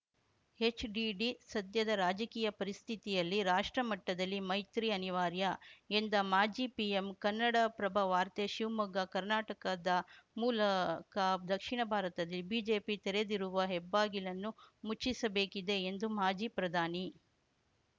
ಹೆಚ್‌ಡಿಡಿ ಸದ್ಯದ ರಾಜಕೀಯ ಪರಿಸ್ಥಿತಿಯಲ್ಲಿ ರಾಷ್ಟ್ರಮಟ್ಟದಲ್ಲಿ ಮೈತ್ರಿ ಅನಿವಾರ್ಯ ಎಂದ ಮಾಜಿ ಪಿಎಂ ಕನ್ನಡಪ್ರಭವಾರ್ತೆ ಶಿವಮೊಗ್ಗ ಕರ್ನಾಟಕದ ಮೂಲಕ ದಕ್ಷಿಣ ಭಾರತದಲ್ಲಿ ಬಿಜೆಪಿ ತೆರೆದಿರುವ ಹೆಬ್ಬಾಗಿಲನ್ನು ಮುಚ್ಚಿಸಬೇಕಿದೆ ಎಂದು ಮಾಜಿ ಪ್ರಧಾನಿ